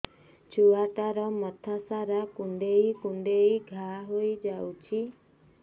ଛୁଆଟାର ମଥା ସାରା କୁଂଡେଇ କୁଂଡେଇ ଘାଆ ହୋଇ ଯାଇଛି